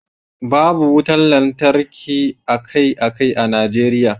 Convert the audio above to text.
babu wutar lantarki akai-akai a Najeriya